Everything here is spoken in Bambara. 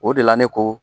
O de la ne ko